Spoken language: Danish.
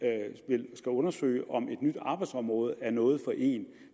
undersøge om et nyt arbejdsområde er noget for en